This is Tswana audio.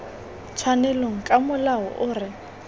tshwanelong ka molao o re